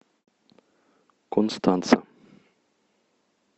констанца